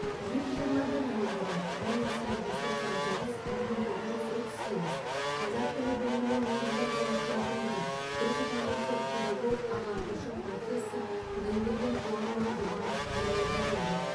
жүз жиырма бір жыл бұрын бір мың сегіз жүз тоқсан тоғыз бір мың тоғыз жүз отыз сегіз қазақ тілі білімінің негізін қалаушылардың бірі түркітанушы педагог ағартушы профессор құдайберген қуанұлы жұбанов дүниеге келді